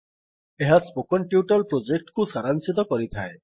ଏହା spoken tutorial project କୁ ସାରାଂଶିତ କରିଥାଏ